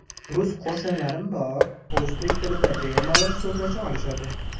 Rus qo‘shnilarim bor, o‘zbek tilida bemalol so‘zlasha olishadi.